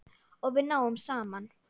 Og við náðum saman.